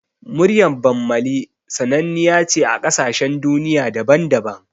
Muryar Bammali sananniya ce a ƙasashen duniya daban-daban